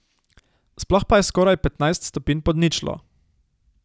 Sploh pa je skoraj petnajst stopinj pod ničlo.